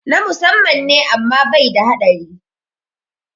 Na musamman ne amma bai da haɗari